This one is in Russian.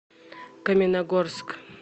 каменногорск